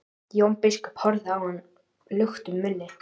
Jón biskup horfði á hann luktum munni.